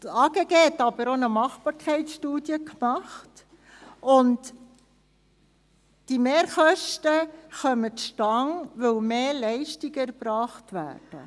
Das AGG führte auch eine Machbarkeitsstudie durch, und die Mehrkosten kommen dadurch zustande, dass mehr Leistungen erbracht werden.